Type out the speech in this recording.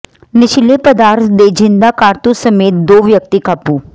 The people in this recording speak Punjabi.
ਨਸ਼ੀਲੇ ਪਦਾਰਥ ਤੇ ਜਿੰਦਾ ਕਾਰਤੂਸ ਸਮੇਤ ਦੋ ਵਿਅਕਤੀ ਕਾਬੂ